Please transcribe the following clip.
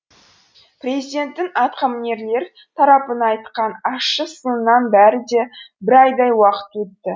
президенттің атқамінерлер тарапына айтқан ащы сынынан бері де бір айдай уақыт өтті